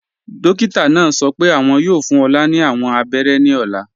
Dókítà náà sọ́ pẹ́ awọn yóò fún Olá ni awọn àbẹ̀rẹ̀ ní ọ̀là.